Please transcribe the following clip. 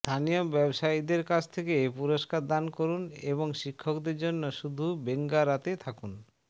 স্থানীয় ব্যবসায়ীদের কাছ থেকে পুরষ্কার দান করুন এবং শিক্ষকদের জন্য শুধু বেঙ্গো রাতে থাকুন